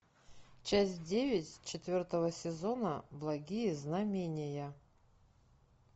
часть девять четвертого сезона благие знамения